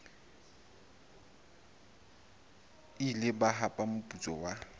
ile ba hapa moputso wa